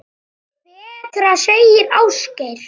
Betra, segir Ásgeir.